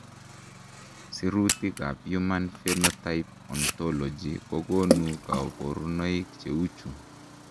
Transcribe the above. Sirutikab Human Phenotype Ontology kokonu koborunoik cheuchu.